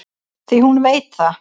Því hún veit það.